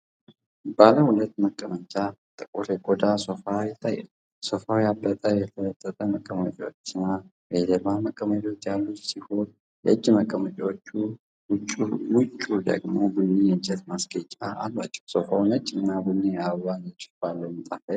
ባለ ሁለት መቀመጫ፣ ጥቁር የቆዳ ሶፋ ይታያል። ሶፋው ያበጠ፣ የተለጠጠ መቀመጫዎች እና የጀርባ መቀመጫዎች ያሉት ሲሆን፤ የእጅ መቀመጫዎቹ ውጪ ደግሞ ቡኒ የእንጨት ማስጌጫ አላቸው። ሶፋው ነጭና ቡኒ የአበባ ንድፍ ባለው ምንጣፍ ላይ ተቀምጧል።